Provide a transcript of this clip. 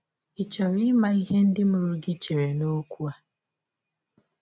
Ị̀ chọrọ ịma ihe ndị mụrụ gị chere n’ọkwụ a?